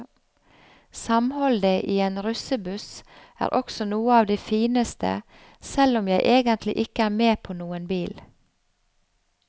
Samholdet i en russebuss er også noe av det fineste, selv om jeg egentlig ikke er med på noen bil.